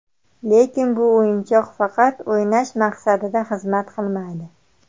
Lekin bu o‘yinchoq faqat o‘ynash maqsadida xizmat qilmaydi.